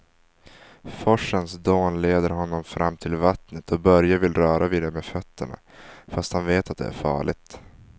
Forsens dån leder honom fram till vattnet och Börje vill röra vid det med fötterna, fast han vet att det är farligt.